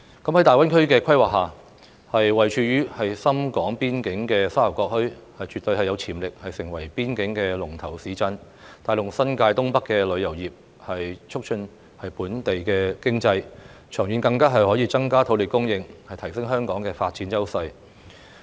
在大灣區規劃下，位處深港邊界的沙頭角墟，絕對有潛力成為邊境龍頭市鎮，帶動新界東北的旅遊業，促進本地經濟，長遠更可增加土地供應，提升香港的發展優勢。